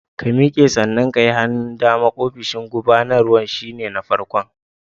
Ka miƙe, sannan ka yi hannun dama, ofishin gubanarwan shi ne na farkon.